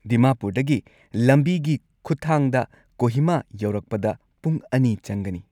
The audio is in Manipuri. ꯗꯤꯃꯥꯄꯨꯔꯗꯒꯤ ꯂꯝꯕꯤꯒꯤ ꯈꯨꯠꯊꯥꯡꯗ ꯀꯣꯍꯤꯃꯥ ꯌꯧꯔꯛꯄꯗ ꯄꯨꯡ ꯲ ꯆꯪꯒꯅꯤ꯫